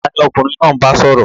Tani ọkunrin naa n ba sọrọ?